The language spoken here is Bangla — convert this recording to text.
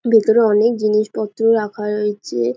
ভিতরে অনেক জিনিসপত্র রাখা রয়েছে।